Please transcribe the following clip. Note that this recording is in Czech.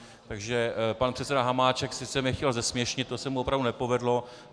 Takže pan předseda Hamáček sice mě chtěl zesměšnit, to se mu opravdu nepovedlo.